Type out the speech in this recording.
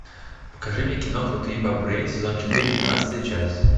покажи мне кино крутые бобры сезон четыре двенадцатая часть